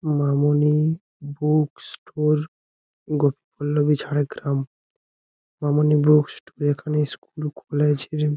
মামনি book store Gopiballavi Jhargram. Mamoni book store এখানে school খুলে ছেরেম ।